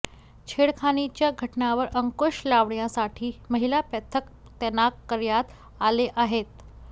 छेडखानीच्या घटनांवर अंकुश लावण्यासाठी महिला पथक तैनात करण्यात आले आहेत